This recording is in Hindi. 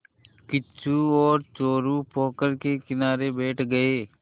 किच्चू और चोरु पोखर के किनारे बैठ गए